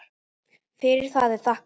Fyrir það er þakkað.